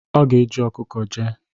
Ọ ga-eji ọkụkọ jee.